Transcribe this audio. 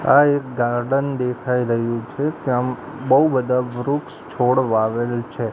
આ એક ગાર્ડન દેખાઈ રહયું છે ત્યાં બઉ બધા વૃક્ષ છોડ વાવેલ છે.